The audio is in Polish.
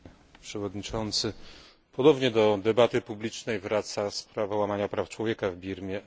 Panie Przewodniczący! Ponownie do debaty publicznej wraca sprawa łamania praw człowieka w Birmie.